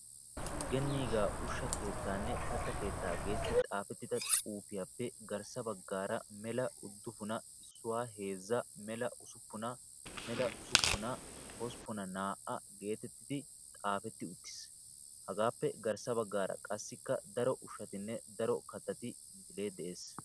Genniigaa ushsha keettaanne katta keettaa geetettidi xaafettida xuufiyappe garssaa baggaara mela uddufuna issuwa heezzaa mela usuppuna mela usuppuna hosppuna naa''a geetetti xaafetti uttiis. Hagaappe garssa baggaara qassikka daro ushshatinne daro kattati misilee de"es.